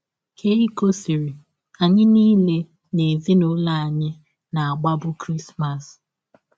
Keikọ sịrị: “ Anyị niile n’ezinụlọ anyị na - agbabụ Krismas.